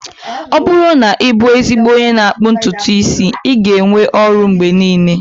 Ọ bụrụ na ị bụ ezigbo onye n'akpụ ntutu isi, ị ga-enwe ọrụ mgbe niile